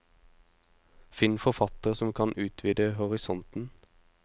Finn forfattere som kan utvide horisonten.